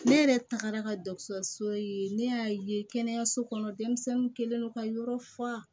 Ne yɛrɛ tagara ka so ye ne y'a ye kɛnɛyaso kɔnɔ denmisɛnninw kɛlen don ka yɔrɔ fa